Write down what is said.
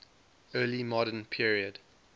early modern period